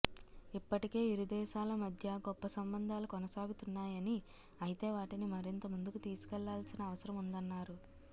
ఇప్పటికే ఇరు దేశాల మధ్య గొప్ప సంబంధాలు కొనసాగుతున్నాయని అయితే వాటిని మరింత ముందుకు తీసుకెళ్లాల్సిన అవసరముందన్నారు